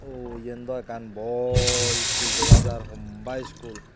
oh yandow ekkan bor school dega jar homba school.